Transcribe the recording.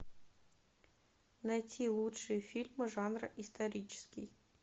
найти лучшие фильмы жанра исторический